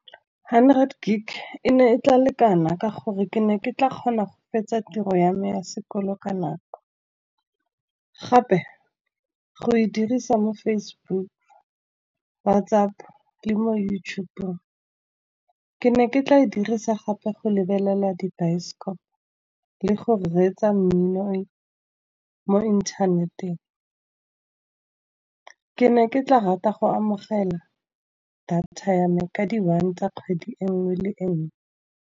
Hundred Gig e ne e tla lekana ka gore ke ne ke tla kgona go fetsa tiro ya me ya sekolo ka nako. Gape go e dirisa mo Facebook, WhatsApp le mo YouTube-ong. Ke ne ke tla e dirisa gape go lebelela dibaesekopo, le go reetsa mmino mo inthaneteng. Ke ne ke tla rata go amogela data ya me ka di-one tsa kgwedi enngwe le enngwe.